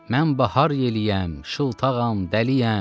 Mən bahar yeliyəm, şıltağam, dəliyəm.